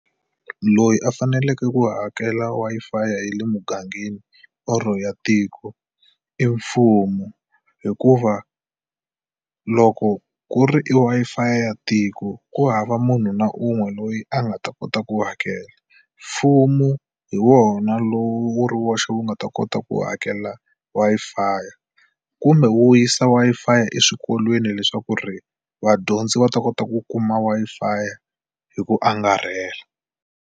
Loyi a faneleke ku hakela Wi-Fi ya le mugangeni or ya tiko i mfumo hikuva loko ku ri i Wi-Fi ya tiko ku hava munhu na un'we loyi a nga ta kota ku hakela mfumo hi wona lowu wu ri woxe wu nga ta kota ku hakela Wi-Fi kumbe wu yisa Wi-Fi eswikolweni leswaku ri vadyondzi va ta kota ku kuma Wi-Fi hi ku angarhela.